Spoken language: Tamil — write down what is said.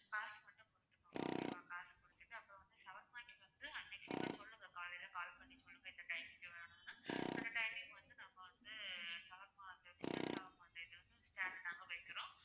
காசு மட்டும் கொடுத்துக்கோங்க okay வா காசு கொடுத்துட்டு அப்பறம் வந்து shawarma க்கு வந்து அன்னைக்கு நீங்க சொல்லுங்க காலைல call பண்ணி சொல்லுங்க இந்த timing க்கு வேணும்ணு அந்த timing க்கு வந்து நாங்க வந்து shawarma சிக்கன் shawarma செய்றதுக்கு chair நாங்க வைக்கிறோம்